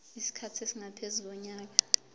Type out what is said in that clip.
isikhathi esingaphezu konyaka